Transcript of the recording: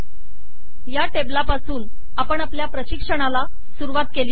या टेबलापासून आपण आपल्या प्रशिक्षणाला सुरुवात केली होती